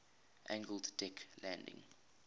angled deck landing